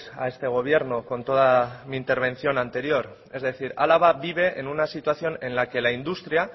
a este gobierno con toda mi intervención anterior es decir álava vive en una situación en la que la industria